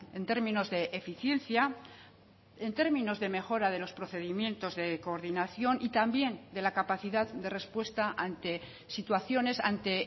en términos de eficiencia en términos de mejora de los procedimientos de coordinación y también de la capacidad de respuesta ante situaciones ante